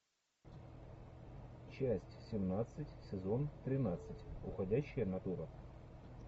часть семнадцать сезон тринадцать уходящая натура